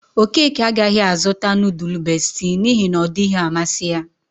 Okeke agaghi azuta nudul Besti n'ihe na ọ dighi amasi ya.